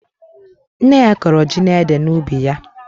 Nne ya kọrọ ji na ede n'ubi ya.